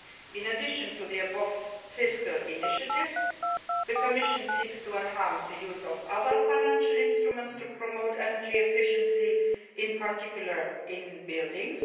In addition to the above fiscal initiatives, the Commission seeks to enhance the use of other financial instruments to promote energy efficiency, in particular, in buildings.